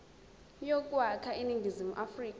yokwakha iningizimu afrika